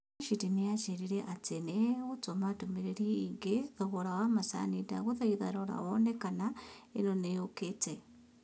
Rashid nĩ aanjĩrire atĩ nĩ egũtũma ndũmĩrĩri ĩgiĩ thogora wa macini ndagũthaitha rora wone kana ĩyo nĩyũkĩte